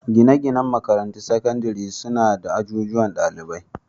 Gine-ginen makarantun sakandare suna da ajujuwan dalibai.